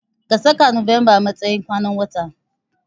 Ka saka November matsayin kwanan watan.